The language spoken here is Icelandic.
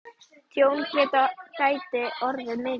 Tjón gæti orðið mjög mikið.